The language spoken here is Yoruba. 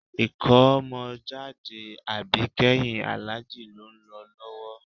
Ìkómọjáde àbíkẹ́yìn Àlájì ló ń lọ lọ́wọ́